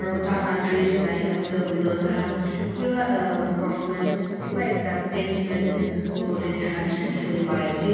aro taikan laga dress laga esap teh hoiletoh taikan kiba uhhh performance kiba ekta dance present kuriboli taka neshina teki ase.